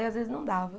E às vezes não dava.